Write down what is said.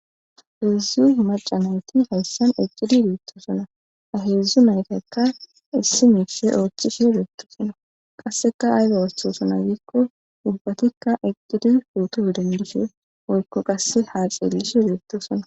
heedzdzu maca nayti hayssan eqidi bettosona aheedzdzu naytekka issi miife oochishe odetto sona qasseka ayda wasthosana ziikko dubbatikka eqcidi futo dendishee oykko qasse haaceellish odetto sona